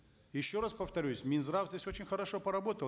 еще раз повторюсь минздрав здесь очень хорошо поработал